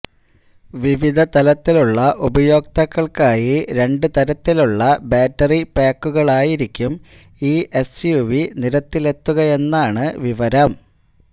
വിവിധ തലങ്ങളിലുള്ള ഉപയോക്താക്കള്ക്കായി രണ്ട് തരത്തിലുള്ള ബാറ്ററി പാക്കുകളിലായിരിക്കും ഈ എസ്യുവി നിരത്തിലെത്തുകയെന്നാണ് വിവരം